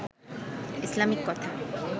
Islamic কথা